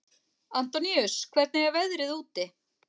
Antóníus, hvernig er veðrið úti?